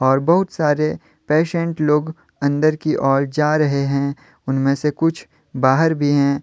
और बहुत सारे पेशेंट लोग अंदर की ओर जा रहे हैं उनमें से कुछ बाहर भी हैं।